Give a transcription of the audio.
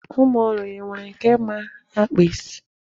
Ụmụ ọrụ ya, e nwere nke ma akpa isi?